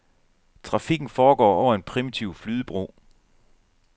Trafikken foregår over en primitiv flydebro.